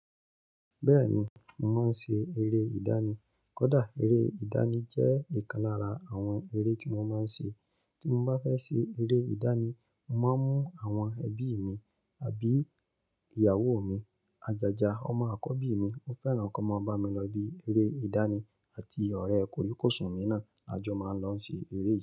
Bẹ́ẹ̀ni, mò ma ń ṣe ère ìdánì. Kódà ère ìdánì jẹ́ ìkan lára àwọn ère tí mò ma ń ṣe. Tí mo bá fẹ́ ṣe ère ìdánì, mò máa ń mú àwọn ẹbí mi àbí ìyàwó mi. Ajaja, ọmọ àkọ́bí mi, ó fẹ́ràn kí wọ́n máa bá mi lọ ibi ère ìdánì àti ọ̀rẹ́ koríkoṣún mi náà, a jọ máa ń lọ ṣe ère.